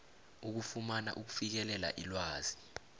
ukufumana ukufikelela ilwazi